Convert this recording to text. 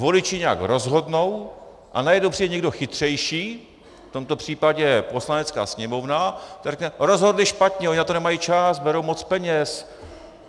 Voliči nějak rozhodnou a najednou přijde někdo chytřejší, v tomto případě Poslanecká sněmovna, která řekne: Rozhodli špatně, oni na to nemají čas, berou moc peněz.